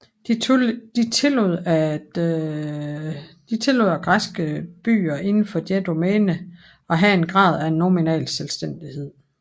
De tillod at græske byer inden for deres domæne af have en grad af nominal selvstændighed